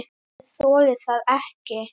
Ég þoli það ekki